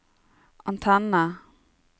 antenne